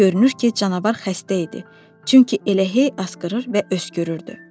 Görünür ki, canavar xəstə idi, çünki elə hey asqırır və öskürürdü.